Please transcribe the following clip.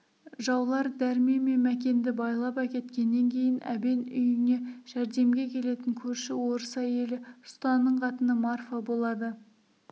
жаулар дәрмен мен мәкенді байлап әкеткеннен кейін әбен үйіне жәрдемге келетін көрші орыс әйелі ұстаның қатыны марфа болады